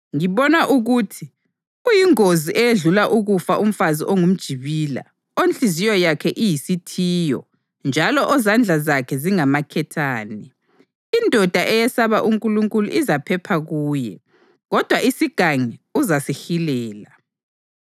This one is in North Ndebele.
Ngibona ukuthi uyingozi eyedlula ukufa umfazi ongumjibila, onhliziyo yakhe iyisithiyo njalo ozandla zakhe zingamaketane. Indoda eyesaba uNkulunkulu izaphepha kuye, kodwa isigangi uzasihilela.